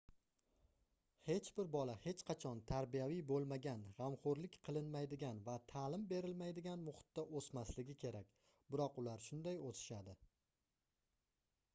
hech bir bola hech qachon tarbiyaviy boʻlmagan gʻamxoʻrlik qilinmaydigan va taʼlim berilmaydigan muhitda oʻsmaligi kerak biroq ular shunday oʻsishadi